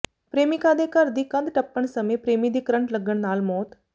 ਪ੍ਰੇਮਿਕਾ ਦੇ ਘਰ ਦੀ ਕੰਧ ਟੱਪਣ ਸਮੇਂ ਪ੍ਰੇਮੀ ਦੀ ਕਰੰਟ ਲੱਗਣ ਨਾਲ ਮੌਤ